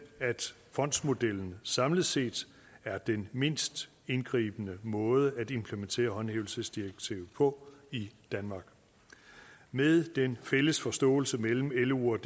at fondsmodellen samlet set er den mindst indgribende måde at implementere håndhævelsesdirektivet på i danmark med den fælles forståelse mellem lo og